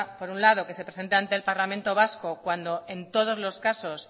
por un lado que se presente ante el parlamento vasco cuando en todos los casos